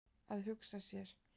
Að hugsa sér!